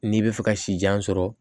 N'i bɛ fɛ ka sijan sɔrɔ